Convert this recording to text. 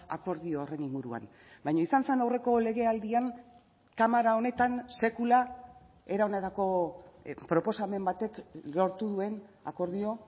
akordio horren inguruan baina izan zen aurreko legealdian kamara honetan sekula era honetako proposamen batek lortu duen akordio